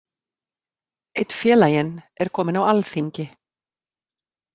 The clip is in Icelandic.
Einn félaginn er kominn á alþingi.